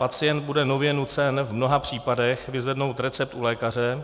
Pacient bude nově nucen v mnoha případech vyzvednout recept u lékaře,